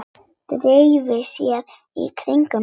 Dreifi sér í kringum hann.